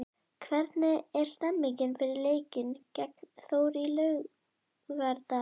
Hvernig er stemningin fyrir leikinn gegn Þór á laugardag?